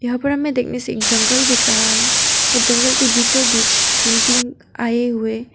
यहां पर हमें देखने से एक जंगल दिख रहा है और जंगल के बीचों बीच कैंपिंग आए हुए--